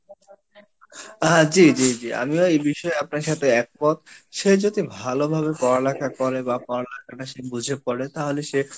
হ্যাঁ জি জি জি আমিও এই বিষয় আপনার সাথে এক মত সে যদি ভালো ভাবে পড়া লেখা করে বা পড়া লেখাটা সে বুঝে করে তাহলে সে